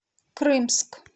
крымск